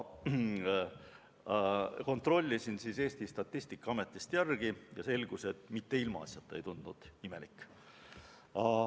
Kontrollisin Eesti Statistikaametist järele ja selgus, et mitte ilmaasjata ei tundunud imelik.